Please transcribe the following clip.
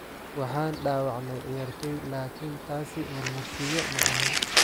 Waxaan dhaawacnay ciyaartoy laakiin taasi marmarsiiyo ma ahan."